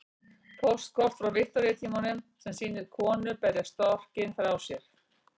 Póstkort frá Viktoríutímanum sem sýnir konu berja storkinn frá sér.